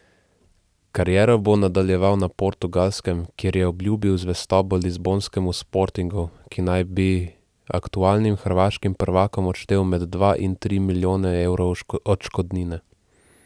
Kariero bo nadaljeval na Portugalskem, kjer je obljubil zvestobo lizbonskemu Sportingu, ki naj bi aktualnim hrvaškim prvakom odštel med dva in tri milijone evrov odškodnine.